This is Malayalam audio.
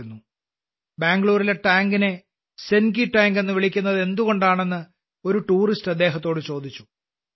അത്തരമൊരു യാത്രയിൽ ബാംഗ്ലൂരിലെ ടാങ്കിനെ സെൻകി ടാങ്ക് എന്ന് വിളിക്കുന്നത് എന്തുകൊണ്ടാണെന്ന് ഒരു ടൂറിസ്റ്റ് അദ്ദേഹത്തോട് ചോദിച്ചു